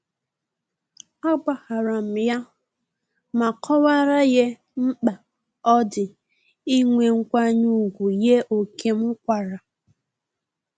A gbaharam ya ma kọwara ye mkpa odi inwe nkwanye ugwu ye ókè m kwara